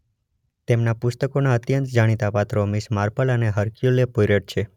તેમનાં પુસ્તકોનાં અત્યંત જાણીતાં પાત્રો મિસ માર્પલ અને હર્ક્યુલે પોઇરોટ છે.